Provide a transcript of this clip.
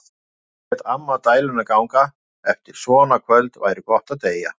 Á meðan lét amma dæluna ganga: Eftir svona kvöld væri gott að deyja.